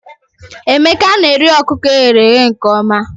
Emeka na-eri ọkụkọ e ghere eghe nke ọma